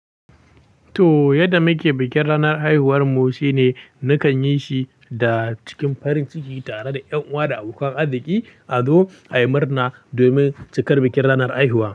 To, yadda muke bikin ranar haihuwar mu shine nakan yi shi da cikin farin ciki tare da ƴan uwa da abokan arziki. Azo ayi murna domin cikar bikin ranar haihuwa.